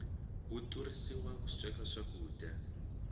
wu turhisiwa ku sweka swakudya